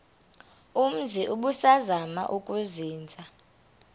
umzi ubusazema ukuzinza